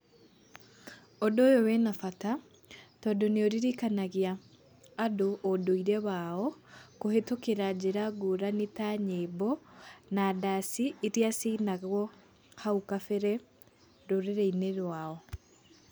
Ũndũ ũyũ wĩna bata tondu nĩũririkanagia andũ ũndũire wao kuhĩtũkĩra njĩra ngũrani ta nyĩmbo na ndaci iria ciainagwo hau kabere rũrĩri-inĩ rwao.